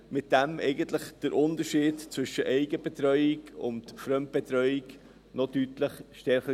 Damit hat man eigentlich den Unterschied zwischen Eigenbetreuung und Fremdbetreuung noch deutlich verstärkt.